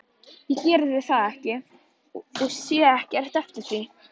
Ég gerði það og sé ekki eftir því.